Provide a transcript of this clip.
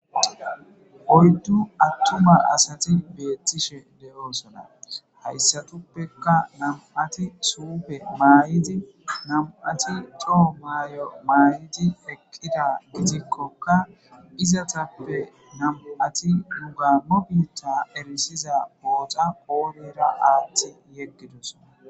oyddu attu ba asati beettishe de7oosona hayssatuppeka nam7ati suupe maay7idi nam7ati too maay7o maayidi eqqida gitikkokka izatappe nam7ati nugammo biitta erisiza boota qoolira aatti yeggidus